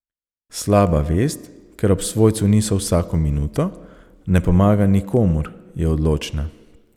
Slaba vest, ker ob svojcu niso vsako minuto, ne pomaga nikomur, je odločna.